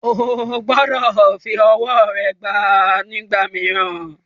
O gbọdọ̀ fi ọwọ́ rẹ gbá a nígbà mìíràn.